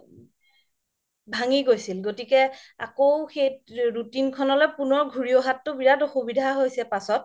ভাঙ্গি গৈছিল গতিকে আকৌ সেই routine খনলে পুনৰ ঘৰি অহাতো বিৰাত অসুবিধা হৈছে পাছ্ত